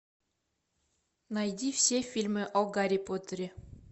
найди все фильмы о гарри поттере